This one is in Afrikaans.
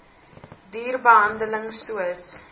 duur behandeling soos